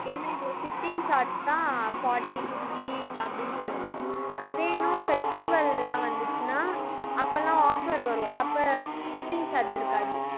என்ன இது shipping charge தான் forty, fifty அப்படின்னு சொல்லிட்டு போகும் அது இன்னும் festival எல்லாம் வந்துச்சுன்னா, அப்பல்லாம் offer வரும். அப்ப shipping charge இருக்காது